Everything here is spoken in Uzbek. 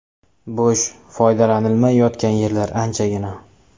Bo‘sh, foydalanilmay yotgan yerlar anchagina.